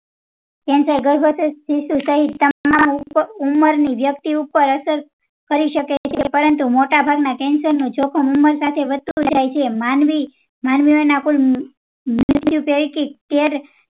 cancer ગર્ભવતી શિશુ સહીત તમામ ઉંમર ની વ્યક્તિ ઉપ્પર અસર કરી શકે છે માનવી માનવીઓ ના કુલ મૃત્યુ પેઇકી તેર